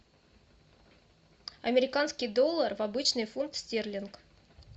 американский доллар в обычный фунт стерлинг